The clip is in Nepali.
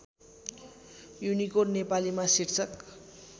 युनिकोड नेपालीमा शीर्षक